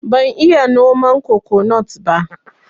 Ban iya noman kokonut ba